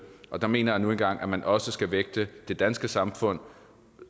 og der mener jeg nu engang at man også skal vægte det danske samfunds